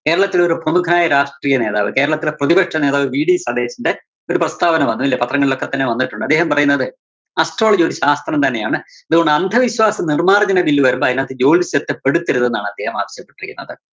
കേരളത്തിലൊരു പ്രമുഖനായ രാഷ്ട്രീയ നേതാവ്, കേരളത്തിലെ പ്രതിപക്ഷനേതാവ് VD സതീശന്റെ ഒരു പ്രസ്താവന വന്നൂല്ലേ? പത്രങ്ങളിലൊക്കെ തന്നെ വന്നിട്ടൊണ്ട്. അദ്ദേഹം പറയുന്നത് astrology ഒരു ശാസ്ത്രം തന്നെയാണ്. അതുകൊണ്ട് അന്ധവിശ്വാസം നിര്‍മ്മാര്‍ജ്ജന bill വരുമ്പോ അതിനകത്ത് ജ്യോതിഷത്തെ പെടുത്തരുത് എന്നാണ് അദ്ദേഹം ആവശ്യപ്പെട്ടിരിക്കുന്നത്.